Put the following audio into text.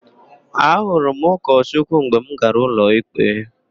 Ahụrụ m ụkọchukwu mgbe m gara ụlọikpe.